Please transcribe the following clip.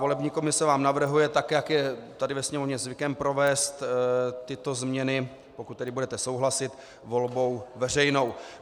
Volební komise vám navrhuje, tak jak je tady ve Sněmovně zvykem, provést tyto změny, pokud tedy budete souhlasit, volbou veřejnou.